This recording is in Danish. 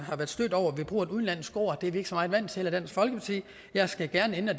bruger et udenlandsk ord det er vi ikke så vant til i dansk folkeparti jeg skal gerne ændre